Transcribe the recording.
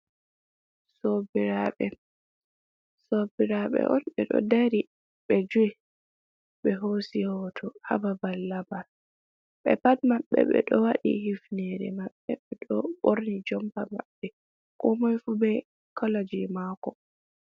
Sobiraɓe: sobiraɓe on ɓeɗo dari ɓe joi ɓe hosi hoto ha babal laɓal, ɓe pat maɓɓe ɓeɗo waɗi hifnere maɓɓe ɓeɗo borni jompa maɓɓe, komoi fu be kolo jei mako.